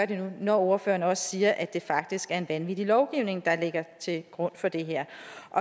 det nu når ordføreren også siger at det faktisk er en vanvittig lovgivning der ligger til grund for det her